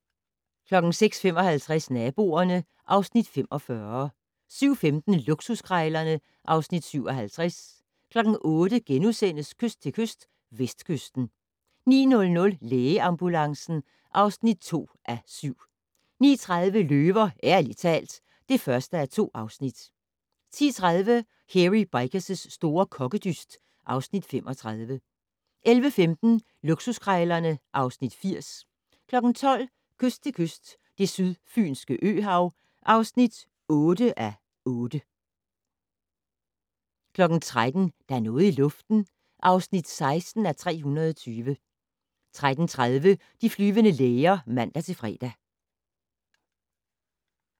06:55: Naboerne (Afs. 45) 07:15: Luksuskrejlerne (Afs. 57) 08:00: Kyst til kyst - Vestkysten (7:8)* 09:00: Lægeambulancen (2:7) 09:30: Løver - ærligt talt (1:2) 10:30: Hairy Bikers' store kokkedyst (Afs. 35) 11:15: Luksuskrejlerne (Afs. 80) 12:00: Kyst til kyst - Det sydfynske øhav (8:8) 13:00: Der er noget i luften (16:320) 13:30: De flyvende læger (man-fre)